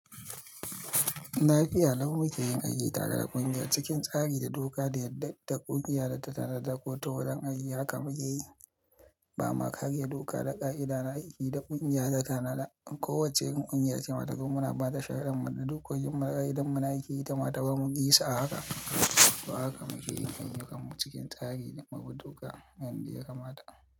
Nafi al'amun mu ke yin aji tare da ƙungiya cikin tsari da doka da ta ƙungiya da ta tanada ko ta wuraren aji. Haka mu ke yi, ba ma kariya, doka da ƙa'ida na aiki da ƙungiya ta tanada. Ko wacce ƙungiya ce mata, kuma muna ba ta shaharar mu da duk wajen mu na aiki da mata, ba mu ƙi sa haka. To haka mu ke yin ayyukan mu cikin tsari da doka mai wuche ga mata.